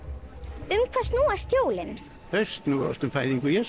um hvað snúast jólin þau snúast um fæðingu Jesú